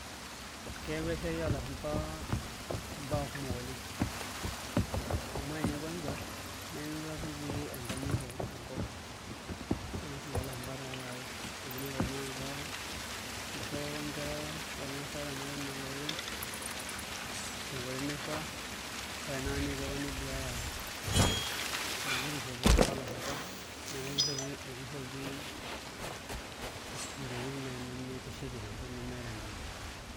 Keyaua esiai oolashumba imbaa kumok oleng' amu ore ninye kwanza nemeekure apa etii enkanyit enkop naa ena siai oolashumba taataake amu inepu tanakata ishopo apa nkera ormaasai ata ninye inooloreren tenkoitoi naifaa ore tanakata neetuo apa neduaya ele kishopo loolashumba neeku ekishopi ntokitin naai nemitishipisho ntokitin nemeeta enkanyit.